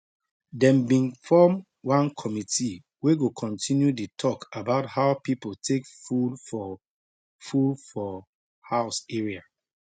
dem been form one committee wey go continue the talk about how people take full for full for house area